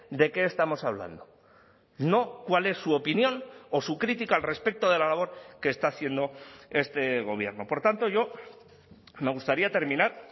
de qué estamos hablando no cuál es su opinión o su crítica al respecto de la labor que está haciendo este gobierno por tanto yo me gustaría terminar